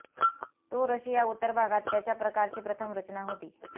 तो रशिया उत्तर भागात त्याच्या प्रकारची प्रथम रचना होती